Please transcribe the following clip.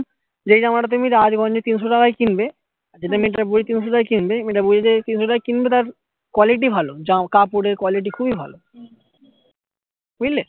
যে জামা টা তুমি রাজগঞ্জে তিনশো টাকায় কিনবে কিন্তু আমি যেটা বলছিলাম সেটাই কিনবে তিনশো টাকায় কিনবে অই জায়গায় কিনবে তার quality ভালো কাপড়ের quality খুবই ভালো বুঝলে